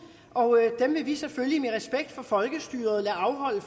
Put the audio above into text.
og dem vil vi selvfølgelig med respekt for folkestyret lade afholde